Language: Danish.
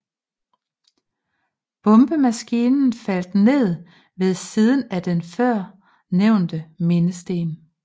Bombemaskinen faldt ned ved siden af den før nævnte mindesten